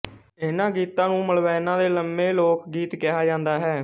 ਇਹਨਾਂ ਗੀਤਾਂ ਨੂੰ ਮਲਵੈਣਾਂ ਦੇ ਲੰਮੇ ਲੋਕ ਗੀਤ ਕਿਹਾ ਜਾਂਦਾ ਹੈ